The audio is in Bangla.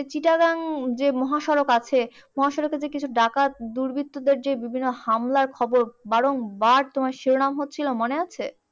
চিটাগাং যে মহাসড়ক আছে মহাসড়কে কিছু ডাকাত দুর্বৃত্তদের যে বিভিন্ন হামলার খবর বারংবার তোমার শিরোনাম হচ্ছিলো, মনে আছে?